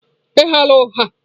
Ị ghala ụgha ụgha.